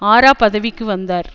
ஆரா பதவிக்கு வந்தார்